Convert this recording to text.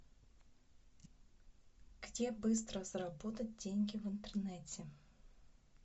где быстро заработать деньги в интернете